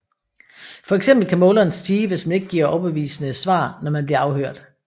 For eksempel kan måleren stige hvis man ikke giver overbevisende svar når man bliver afhørt